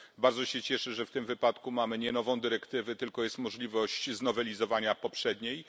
Bardzo się cieszę, że w tym wypadku mamy nie nową dyrektywę, tylko jest możliwość znowelizowania poprzedniej.